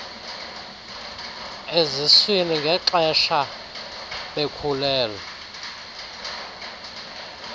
eziswini ngexesha bekhulelwe